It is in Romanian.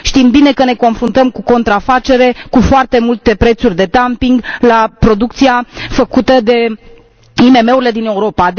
Știm bine că ne confruntăm cu contrafacere, cu foarte multe prețuri de dumping la producția făcută de IMM urile din Europa.